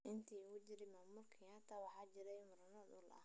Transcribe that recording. Intii uu jiray maamulka Kenyatta waxaa jiray murano dhul.